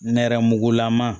Nɛrɛmugugulama